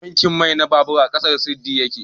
tankin mai na babur a ƙasan sirdi ya ke